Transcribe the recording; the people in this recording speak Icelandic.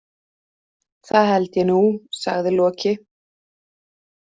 Það held ég nú, sagði Loki.